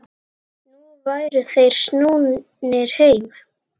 Nú væru þeir snúnir heim.